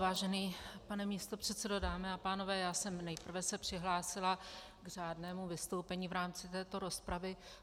Vážený pane místopředsedo, dámy a pánové, já jsem se nejprve přihlásila k řádnému vystoupení v rámci této rozpravy.